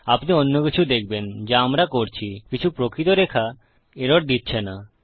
আপনি অন্য কিছু দেখবেন যা আমরা করছি কিছু প্রকৃত রেখা এরর দিচ্ছে না